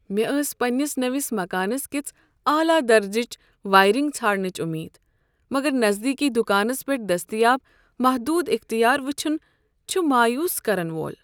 مےٚ ٲس پنٛنس نٔوس مکانس کِژھ اعلی درجٕچ وایرنگ ژھانڈنٕچ امید، مگر نزدیکی دکانس پیٹھ دستیاب محدود اختیار وٕچھُن چھُ مایوس کرن وول۔